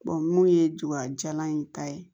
mun ye jogajalan in ta ye